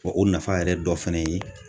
Wɔ o nafa yɛrɛ dɔ fɛnɛ ye